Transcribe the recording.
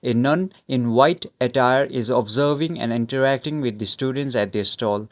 a nun in white attire is observing and interacting with the students at the stall.